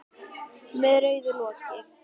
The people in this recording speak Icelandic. Með rauðu loki.